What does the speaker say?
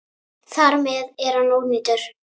Þar með er hann ónýtur.